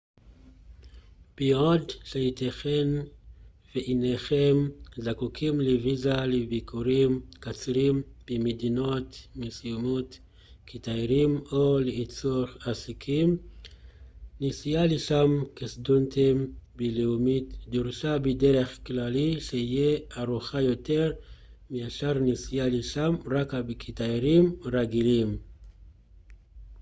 בעוד שיתכן ואינכם זקוקים לויזה לביקורים קצרים במדינות מסוימות כתיירים או לצורך עסקים נסיעה לשם כסטודנטים בינלאומיים דורשת בדרך כלל שהייה ארוכה יותר מאשר נסיעה לשם רק כתיירים רגילים